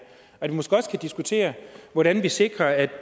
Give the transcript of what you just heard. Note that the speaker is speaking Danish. og vi kunne måske også diskutere hvordan vi sikrer at